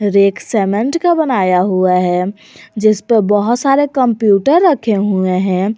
एक सीमेंट का बनाया हुआ है जिसपे बहुत सारे कंप्यूटर रखे हुए हैं।